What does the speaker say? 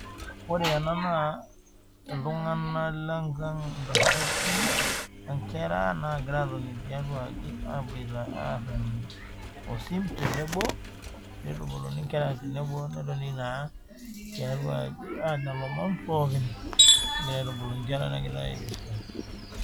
Ore ena naa, iltungana lenkang intasati, inkera nagira atoni tiatuaaji aboita aarr osim tenebo, nitubuluni inkera tenebo aitubulu inkera nitoki aanya ilomon pookin, neitubulu inkera .